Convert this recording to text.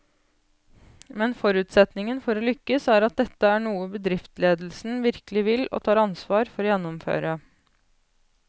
Men forutsetningen for å lykkes er at dette er noe bedriftsledelsen virkelig vil og tar ansvar for å gjennomføre.